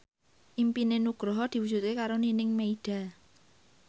impine Nugroho diwujudke karo Nining Meida